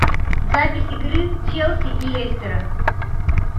запись игры челси и лестера